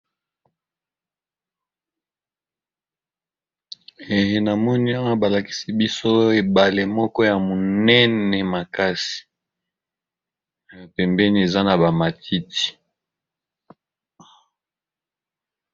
Ee na moni awa ba lakisi biso oyo ebale moko ya monene makasi na pembeni eza na ba matiti.